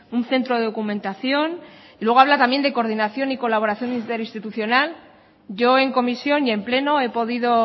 un centro de documentación luego habla también de coordinación y colaboración interinstitucional yo en comisión y en pleno he podido